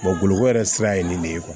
boloko yɛrɛ sira ye nin de ye